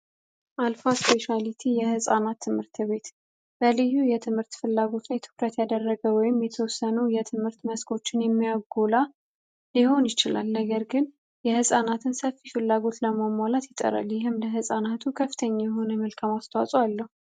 አልፋ ስፔቻራሊቲ የሕፃናት ትምህርት ቤት በልዩ የትምህርት ፍላጎት ላይ ትኩረት ያደረገ ወይም የተወሰኑ የትምህርት መስኮችን የሚያጎላ ሊሆን ይችላል። ነገር ግን የሕፃናትን ሰፊ ፍላጎት ለማውሟላት ይጠራል። ይህም ለሕፃናቱ ከፍተኛ የሆነ መልካም አስተዋጾ አለው።